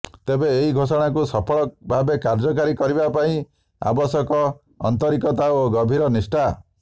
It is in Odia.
ତେବେ ଏହି ଘୋଷଣାକୁ ସଫଳ ଭାବେ କାର୍ଯ୍ୟକାରୀ କରିବା ପାଇଁ ଆବଶ୍ୟକ ଆନ୍ତରିକତା ଓ ଗଭୀର ନିଷ୍ଠା